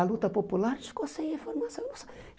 A luta popular, a gente ficou sem informação.